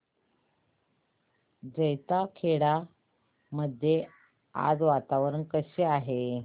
जैताखेडा मध्ये आज वातावरण कसे आहे